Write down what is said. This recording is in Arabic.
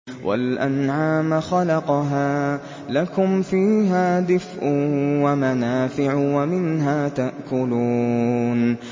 وَالْأَنْعَامَ خَلَقَهَا ۗ لَكُمْ فِيهَا دِفْءٌ وَمَنَافِعُ وَمِنْهَا تَأْكُلُونَ